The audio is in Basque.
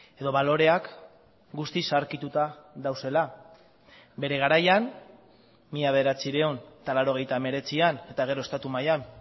edo baloreak guztiz zaharkituta daudela bere garaian mila bederatziehun eta laurogeita hemeretzian eta gero estatu mailan